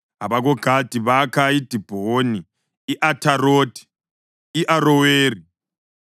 AbakoGadi bakha iDibhoni, i-Atharothi, i-Aroweri,